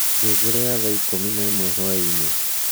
ngengere ya thaa ikumi na imwe hwaiini